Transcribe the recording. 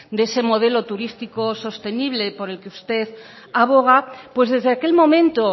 de ese modelo turístico sostenible por el que usted aboga pues desde aquel momento